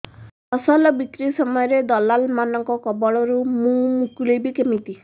ଫସଲ ବିକ୍ରୀ ସମୟରେ ଦଲାଲ୍ ମାନଙ୍କ କବଳରୁ ମୁଁ ମୁକୁଳିଵି କେମିତି